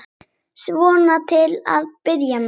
Svona til að byrja með.